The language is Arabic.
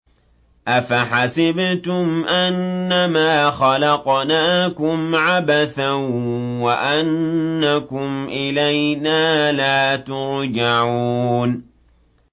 أَفَحَسِبْتُمْ أَنَّمَا خَلَقْنَاكُمْ عَبَثًا وَأَنَّكُمْ إِلَيْنَا لَا تُرْجَعُونَ